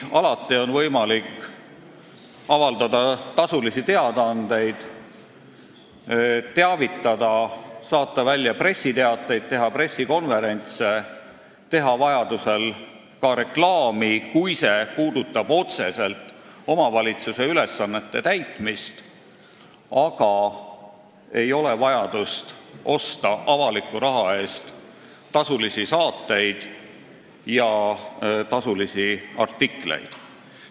Alati on võimalik avaldada tasulisi teadaandeid – teavitada, saata välja pressiteateid, teha pressikonverentse, teha vajaduse korral ka reklaami, kui see puudutab otseselt omavalitsuse ülesannete täitmist –, aga ei ole vajadust osta avaliku raha eest tasulisi saateid ja artikleid.